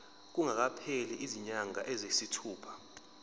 kungakapheli izinyanga eziyisithupha